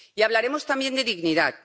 Y hablaremos también de dignidad.